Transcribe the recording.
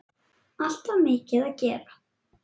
Alltaf mikið að gera.